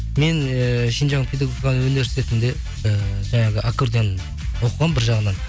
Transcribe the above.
мен ііі шинжан педагогика университетінде ііі жаңағы аккардион оқығанмын бір жағынан